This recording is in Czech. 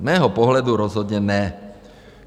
Z mého pohledu rozhodně ne.